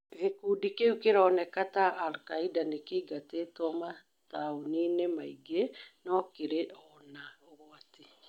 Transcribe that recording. Gĩkũndĩ kĩũ kĩroneka ta alkaida nĩkĩingatĩtwo mataũnĩ- nĩ maĩngĩ no kĩrĩ ona ũgwati